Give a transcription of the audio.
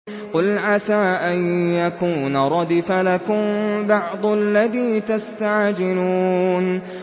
قُلْ عَسَىٰ أَن يَكُونَ رَدِفَ لَكُم بَعْضُ الَّذِي تَسْتَعْجِلُونَ